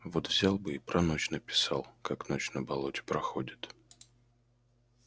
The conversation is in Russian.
вот взял бы и про ночь написал как ночь на болоте проходит